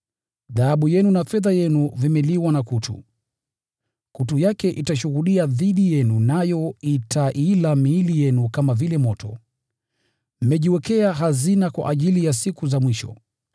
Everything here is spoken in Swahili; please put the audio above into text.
Dhahabu yenu na fedha yenu vimeliwa na kutu. Kutu yake itashuhudia dhidi yenu nayo itaila miili yenu kama vile moto. Mmejiwekea hazina kwa ajili ya siku za mwisho.